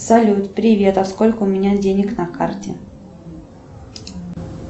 салют привет а сколько у меня денег на карте